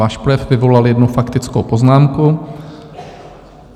Váš projev vyvolal jednu faktickou poznámku.